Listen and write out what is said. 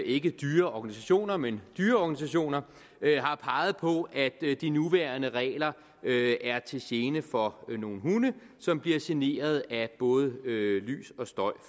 ikke dyre organisationer men dyreorganisationer har peget på at de nuværende regler er til gene for nogle hunde som bliver generet af både lys og støj